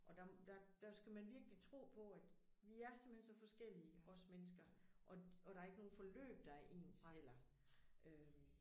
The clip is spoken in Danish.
Og der der der skal man virkelig tro på at vi er simpelthen så forskellige os mennesker og der er ikke nogen forløb der er ens heller øh